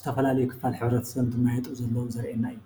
ዝተፈላለዩ ክፋል ሕብረተሰብ እንትመያየጡ ዘለው ዘርእየና እዩ።